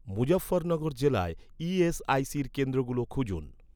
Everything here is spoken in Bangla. মুজাফফরনগর জেলায় ই.এস.আই.সির কেন্দ্রগুলো খুঁজুন